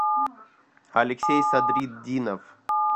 алексей садритдинов